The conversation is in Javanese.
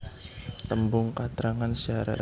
Tembung katrangan syarat